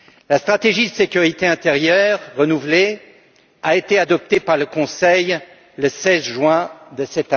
La stratégie de sécurité intérieure renouvelée a été adoptée par le Conseil le 16 juin dernier.